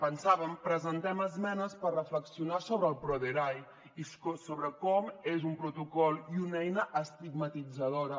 pensàvem presentem esmenes per reflexionar sobre el proderae i sobre com és un protocol i una eina estigmatitzadora